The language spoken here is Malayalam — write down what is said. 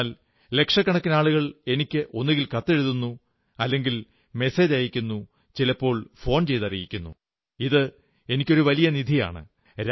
എന്നാൽ ലക്ഷക്കണക്കിനാളുകൾ എനിക്ക് ഒന്നുകിൽ കത്തെഴുതുന്നു അല്ലെങ്കിൽ മെസേജയയ്ക്കുന്നു ചിലപ്പോൾ ഫോൺചെയ്തറിയിക്കുന്നു ഇതെനിക്ക് ഒരു വലിയ ഖജനാവാണ്